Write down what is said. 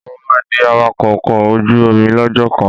Mo máa di awakọ́ ọkọ̀ ojú omi lọ́jọ́ kan.